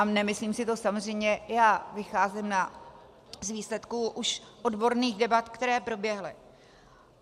A nemyslím si to samozřejmě já, vycházím z výsledků již odborných debat, které proběhly.